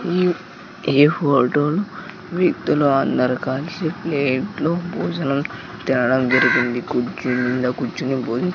ఈ ఈ ఫోటోల్ వ్యక్తులు అందరు కలిసి ప్లేట్ లో భోజనం తినడం జరిగింది కుర్చీ మింద కూర్చొని బోన్ --